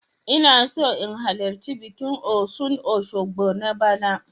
Ina so in halarci bikin Osun Osogbo na bana.